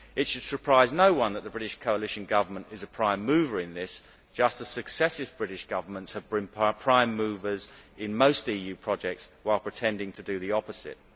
It should surprise no one that the British coalition government is a prime mover in this, just as successive British Governments have been prime movers in most EU projects, while pretending to do the opposite.